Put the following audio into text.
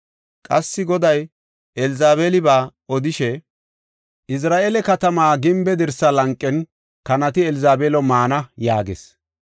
Qassi Goday Elzabeeliba odishe, ‘Izira7eele katama gimbe dirsaa lanqen kanati Elzabeelo maana’ yaagees.